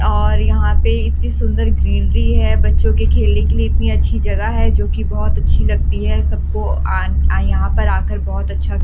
और यहां पे इतनी सुंदर ग्रीनरी है बच्चों के खेलने के लिए इतनी अच्छी जगह है जो कि बहुत अच्छी लगती है सबको आ यहां पर आकर बहुत अच्छा --